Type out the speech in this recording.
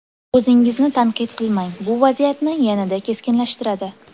O‘zingizni tanqid qilmang, bu vaziyatni yanada keskinlashtiradi.